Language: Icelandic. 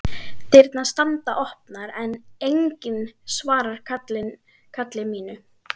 Dyrnar standa opnar en enginn svarar kalli mínu.